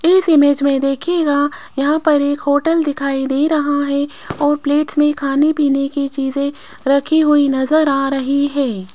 इस इमेज में देखिएगा यहां पर एक होटल दिखाई दे रहा है और प्लेट्स में खाने पीने की चीजें रखी हुई नजर आ रही है।